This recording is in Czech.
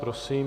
Prosím.